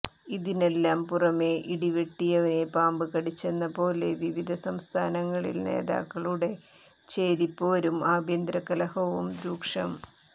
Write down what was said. ഇതിനെല്ലാം പുറമേ ഇടിവെട്ടിയവനെ പാമ്പ് കടിച്ചെന്ന പോലെ വിവിധ സംസ്ഥാനങ്ങളിൽ നേതാക്കളുടെ ചേരിപ്പോരും ആഭ്യന്തരകലഹവും രൂക്ഷം